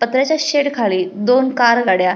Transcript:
पत्र्याच्या शेड खाली दोन कार गाड्या--